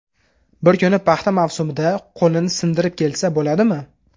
Bir kuni paxta mavsumida qo‘lini sindirib kelsa bo‘ladimi?